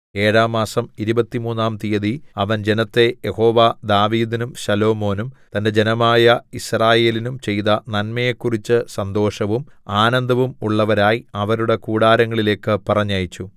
ഏഴാം മാസം ഇരുപത്തിമൂന്നാം തീയതി അവൻ ജനത്തെ യഹോവ ദാവീദിനും ശലോമോനും തന്റെ ജനമായ യിസ്രായേലിനും ചെയ്ത നന്മയെക്കുറിച്ച് സന്തോഷവും ആനന്ദവും ഉള്ളവരായി അവരുടെ കൂടാരങ്ങളിലേക്ക് പറഞ്ഞയച്ചു